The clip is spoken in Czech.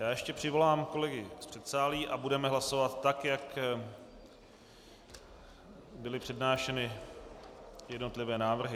Já ještě přivolám kolegy z předsálí a budeme hlasovat tak, jak byly přednášeny jednotlivé návrhy.